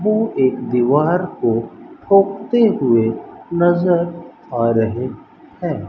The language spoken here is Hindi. वह एक दीवार को ठोकते हुए नजर आ रहे हैं।